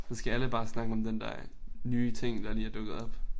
Så skal alle bare snakke om den der nye ting der lige er dukket op